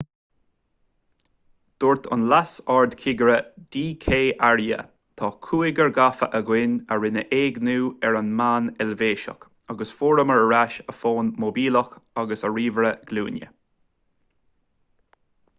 dúirt an leas-ardchigire d k arya tá cúigear gafa againn a rinne éigniú ar an mbean eilvéiseach agus fuaireamar ar ais a fón móibíleach agus a ríomhaire glúine